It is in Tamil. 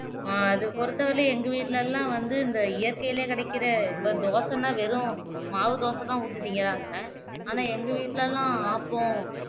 அஹ் அது பொருத்தவரியிலையும் எங்க வீட்டிலேலாம் வந்து இந்த இயற்கைலயே கிடைக்கிற இப்போ தோசைனா வெறும் மாவுதோசைதான் ஊத்தி திங்கிறாங்க ஆனா எங்க வீட்டுலலாம் ஆப்பம்